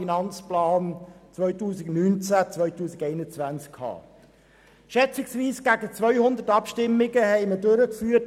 Wir haben in den letzten Tagen schätzungsweise rund 200 Abstimmungen durchgeführt.